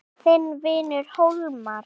Þinn vinur Hólmar.